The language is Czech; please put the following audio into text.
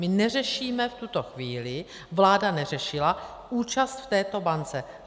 My neřešíme v tuto chvíli, vláda neřešila účast v této bance.